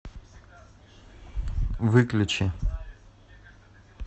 выключи